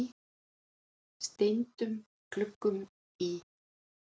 steindum gluggum í